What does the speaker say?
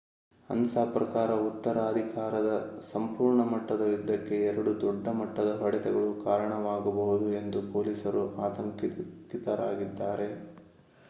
ಅನ್ಸಾ ಪ್ರಕಾರ ಉತ್ತರಾಧಿಕಾರದ ಸಂಪೂರ್ಣ ಮಟ್ಟದ ಯುದ್ಧಕ್ಕೆ ಎರಡು ದೊಡ್ಡ ಮಟ್ಟದ ಹೊಡೆತಗಳು ಕಾರಣವಾಗಬಹುದು ಎಂದು ಪೊಲೀಸರು ಆತಂಕಿತರಾಗಿದ್ದಾರೆ